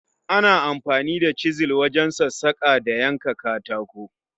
Ana amfani da chizal wajen sassaka da yanka katako